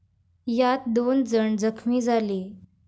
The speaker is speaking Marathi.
यात दोन जण जखमी झाले.